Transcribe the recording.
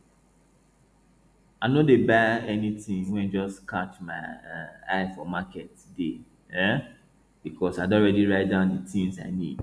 i no dey buy anything wey just catch my um eye for market day um because i don already write down the things i need